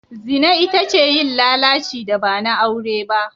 Zina ita ce yin lalaci da ba na aure ba.